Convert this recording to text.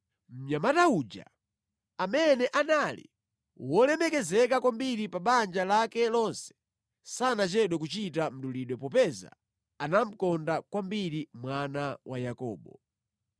Mnyamata uja amene anali wolemekezeka kwambiri pa banja lake lonse, sanachedwe kuchita mdulidwe popeza anamukonda kwambiri mwana wa Yakobo.